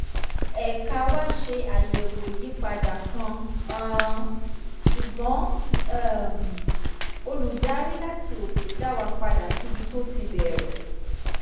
ẹ̀ka wá ṣe àyẹ̀wò ìyípadà kan um ṣùgbọ́n um olùdarí láti òkè dá wa padà síbi tó ti bẹ̀rẹ̀